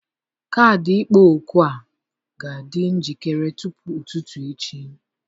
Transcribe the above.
Kaadị ịkpọ òkù a ga-adị njikere tupu ụtụtụ echi.